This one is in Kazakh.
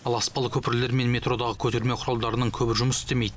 ал аспалы көпірлер мен метродағы көтерме құралдарының көбі жұмыс істемейді